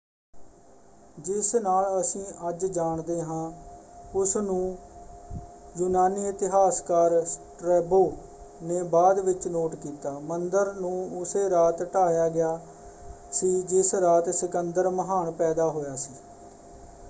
ਜਿਸ ਨਾਲ ਅਸੀਂ ਅੱਜ ਜਾਣਦੇ ਹਾਂ ਉਸਨੂੰ ਯੂਨਾਨੀ ਇਤਿਹਾਸਕਾਰ ਸਟ੍ਰੈਬੋ ਨੇ ਬਾਅਦ ਵਿੱਚ ਨੋਟ ਕੀਤਾ। ਮੰਦਰ ਨੂੰ ਉਸੇ ਰਾਤ ਢਾਹਿਆ ਗਿਆ ਸੀ ਜਿਸ ਰਾਤ ਸਿਕੰਦਰ ਮਹਾਨ ਪੈਦਾ ਹੋਇਆ ਸੀ।